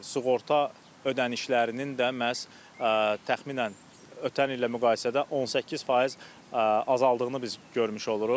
Sığorta ödənişlərinin də məhz təxminən ötən illə müqayisədə 18% azaldığını biz görmüş oluruq.